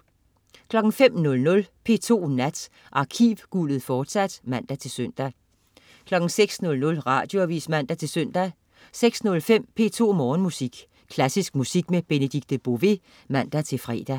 05.00 P2 Nat. Arkivguldet, fortsat (man-søn) 06.00 Radioavis (man-søn) 06.05 P2 Morgenmusik. Klassisk musik med Benedikte Bové (man-fre)